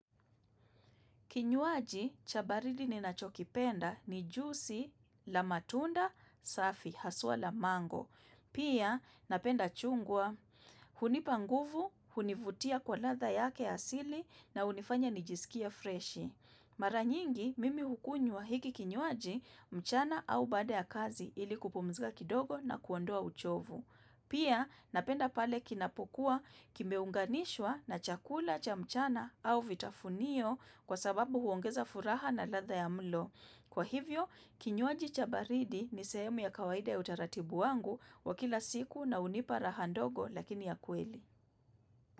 Kinywaji, chabaridi ni nachokipenda ni jusi la matunda safi, haswa la mango. Pia, napenda chungwa, hunipanguvu, hunivutia kwa ladha yake asili na unifanya nijisikie freshi. Maranyingi, mimi hukunywa hiki kinywaji, mchana au baada ya kazi ili kupumzika kidogo na kuondoa uchovu. Pia napenda pale kinapokuwa kimeunganishwa na chakula cha mchana au vitafunio kwa sababu huongeza furaha na ladha ya mlo. Kwa hivyo, kinywaji chabaridi ni sehemu ya kawaida ya utaratibu wangu wa kila siku na unipara handogo lakini ya kweli.